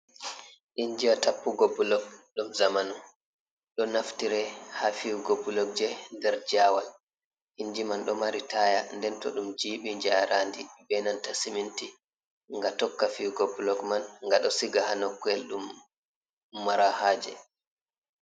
Injiwa tappugo bulok dum zamanu, ɗo naftire ha fiyugo bulokje der jawal, inji man ɗo mari taya nden to ɗum jibi jaarandi be nanta siminti ga tokka fiyugo blok man ga ɗo siga ha noko’el ɗum mara haje.